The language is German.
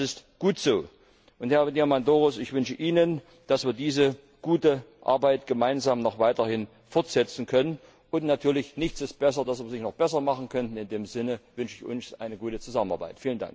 Und das ist gut so! Herr Diamondouros, ich wünsche Ihnen, dass wir diese gute Arbeit gemeinsam noch weiterhin fortsetzen können, und natürlich ist nichts so gut, dass man es nicht noch besser machen könnte in dem Sinne wünsche ich uns eine gute Zusammenarbeit!